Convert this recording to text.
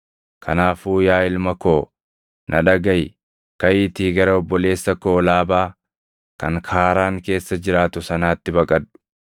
Kanaafuu yaa ilma koo na dhagaʼi; kaʼiitii gara obboleessa koo Laabaa kan Kaaraan keessa jiraatu sanaatti baqadhu.